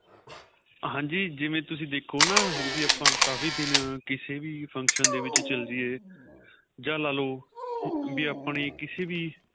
ਹਾਂਜੀ ਜਿਵੇਂ ਤੁਸੀਂ ਦੇਖੋ ਨਾ ਵੀ ਆਪਾਂ ਦਿਨ ਕਿਸੇ ਵੀ function ਦੇ ਵਿੱਚ ਚੱਲੇ ਜਈਏ ਜਾਂ ਲਾਲੋ ਵੀ ਆਪਣੇਂ ਕਿਸੇ ਵੀ